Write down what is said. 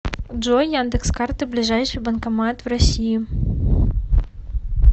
джой яндекс карты ближайший банкомат в россии